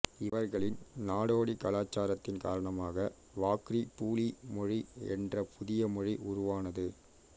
இவர்களின் நாடோடி கலாச்சாரத்தின் காரணமாக வாக்ரி பூலி மொழி என்ற புதிய மொழி உருவானது